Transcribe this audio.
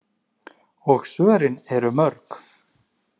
Og svörin eru mörg.